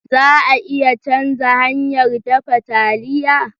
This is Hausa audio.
Za a iya canza hanyar dafa taliya?